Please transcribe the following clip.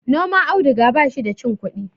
noman auduga ba shi da cin kudi